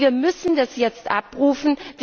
Wir müssen das jetzt abrufen.